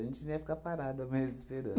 A gente não ia ficar parada mesmo, esperando.